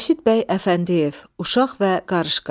Rəşid Bəy Əfəndiyev, Uşaq və qarışqa.